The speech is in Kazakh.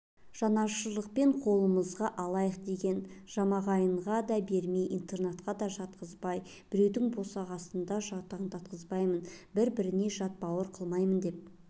жанашырлықпен қолымызға алайық деген жамағайынға да бермей интернатқа да жатқызбай біреудің босағасында жаутаңдатқызбаймын бір-біріне жат бауыр қылмаймын деп